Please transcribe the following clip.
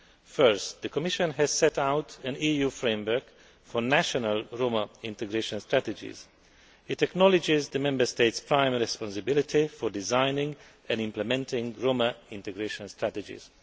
Firstly, the Commission has set out an EU framework for national Roma integration strategies. It acknowledges the Member States' prime responsibility for designing and implementing Roma integration strategies.